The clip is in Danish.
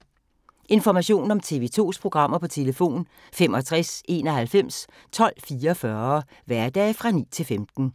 Information om TV 2's programmer: 65 91 12 44, hverdage 9-15.